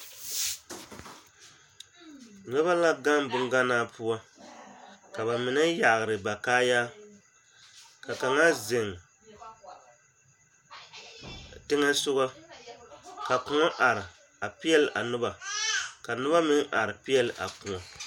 Noba la gaŋ bonganaa poɔ ka ba mine yagre ba kaayaa ka kaŋa zeŋ teŋɛ soga ka koɔ are a peɛlle a noba ka noba meŋ are peɛlle a koɔ.